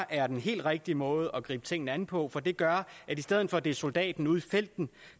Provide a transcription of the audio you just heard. er den helt rigtige måde at gribe tingene an på for det gør at i stedet for at det er soldaten ude i felten